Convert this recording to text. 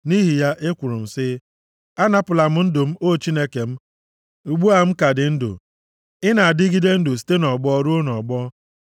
Nʼihi ya, ekwuru m sị, “Anapụla m ndụ m, o Chineke m, ugbu a m ka dị ndụ; ị na-adịgide ndụ site nʼọgbọ ruo nʼọgbọ.